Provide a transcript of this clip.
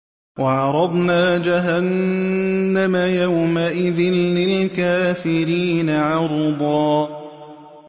وَعَرَضْنَا جَهَنَّمَ يَوْمَئِذٍ لِّلْكَافِرِينَ عَرْضًا